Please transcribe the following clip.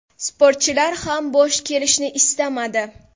Sportchilar ham bo‘sh kelishni istamadi.